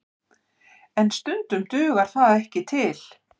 En stundum dugar það ekki til